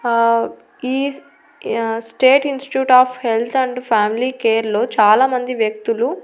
హ ఈ state institute of health and family care లో చాలామంది వ్యక్తులు--